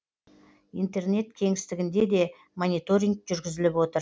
интернет кеңістігінде де мониторинг жүргізіліп отыр